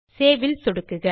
save ல் சொடுக்குக